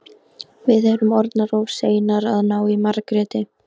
Við erum orðnar of seinar að ná í Margréti.